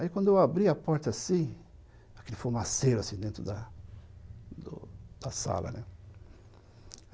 Aí quando eu abri a porta, assim, aquele fumaceiro, assim, dentro da do da sala, né?